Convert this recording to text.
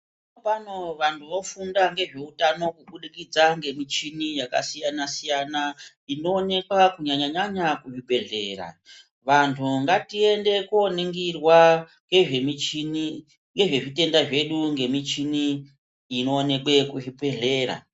Zvinopano vantu vofunda ngezveutano kubudikidza ngemichini yakasiyana siyana inoonekwa kunyanya nyanya muzvibhedhlera. vantu ngatiende kooningirwa ngezvezvitenda zvedu ngemichini inoonekwe muzvibhedhlera.